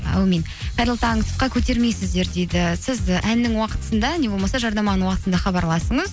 әумин қайырлы таң тұтқа көтермейсіздер дейді сіз і әннің уақытысында не болмаса жарнаманың уақытысында хабарласыңыз